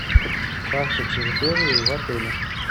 карта территории в отеле